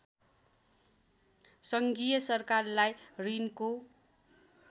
सङ्घीय सरकारलाई ॠणको